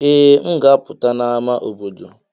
Ee, m ga-apụta n'ámá obodo.